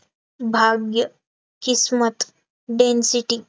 भाग्य किस्मत density